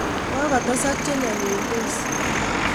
Kokotesak che nyalildos.